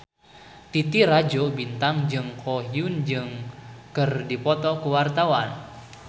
Titi Rajo Bintang jeung Ko Hyun Jung keur dipoto ku wartawan